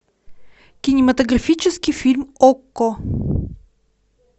кинематографический фильм окко